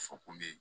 Fɔ kun be yen